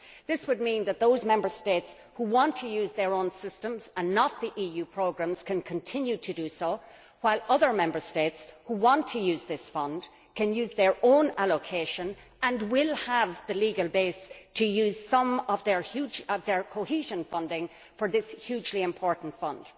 This would mean that those Member States which want to use their own systems and not the EU programmes can continue to do so, while other Member States, who want to use this fund, can use their own allocation and will have the legal base to use some of their cohesion funding for this hugely important fund.